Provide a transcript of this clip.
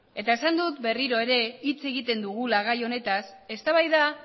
esan dut berriro ere hitz egiten dugula gai honetaz eztabaida